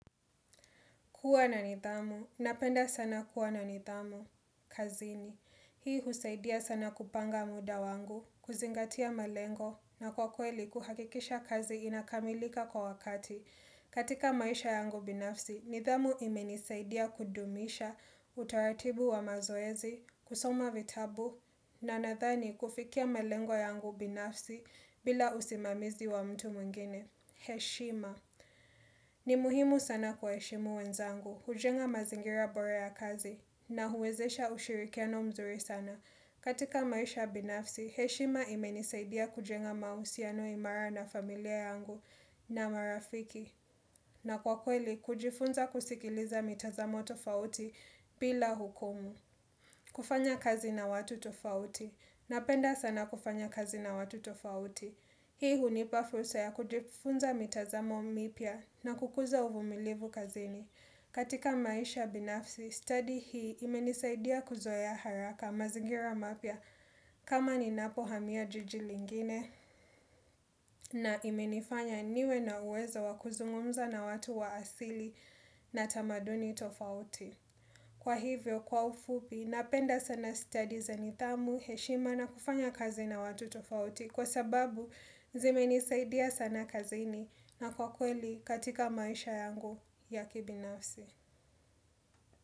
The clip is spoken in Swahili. Kuwa na nidhamu. Napenda sana kuwa na nidhamu. Kazini. Hii husaidia sana kupanga muda wangu, kuzingatia malengo, na kwa kweli kuhakikisha kazi inakamilika kwa wakati. Katika maisha yangu binafsi, nidhamu imenisaidia kudumisha utaratibu wa mazoezi, kusoma vitabu, na nadhani kufikia malengo yangu binafsi bila usimamizi wa mtu mwingine. Heshima. Ni muhimu sana kuheshimu wenzangu. Kujenga mazingira bora ya kazi na huwezesha ushirikiano mzuri sana. Katika maisha binafsi, heshima imenisaidia kujenga mahusiano imara na familia yangu na marafiki. Na kwa kweli, kujifunza kusikiliza mitazamo tofauti bila hukumu. Kufanya kazi na watu tofauti. Napenda sana kufanya kazi na watu tofauti. Hii hunipa frusa ya kujifunza mitazamo mipya na kukuza uvumilivu kazini. Katika maisha binafsi, study hii imenisaidia kuzoea haraka mazingira mapya kama ninapo hamia jijili lingine na imenifanya niwe na uwezo wakuzungumza na watu wa asili na tamaduni tofauti. Kwa hivyo, kwa ufupi, napenda sana study za nidhamu, heshima na kufanya kazi na watu tofauti kwa sababu zimenisaidia sana kazini na kwa kweli katika maisha yangu ya kibinafsi.